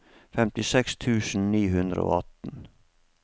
femtiseks tusen ni hundre og atten